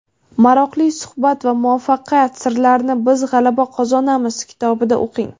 Maroqli suhbat va muvaffaqiyat sirlarini "Biz g‘alaba qozonamiz" kitobida o‘qing.